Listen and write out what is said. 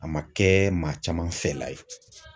A ma kɛ maa caman fɛla ye.